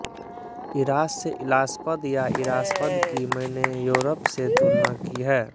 इरास्य इलास्पद या इरास्पद की मैंने योरप से तुलना की है